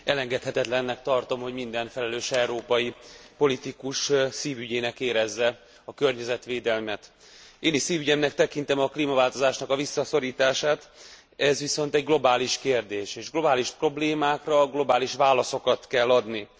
Elengedhetetlennek tartom, hogy minden felelős európai politikus szívügyének érezze a környezetvédelmet. Én is szívügyemnek tekintem a klímaváltozásnak a visszaszorítását, ez viszont egy globális kérdés, és globális problémákra globális válaszokat kell adni.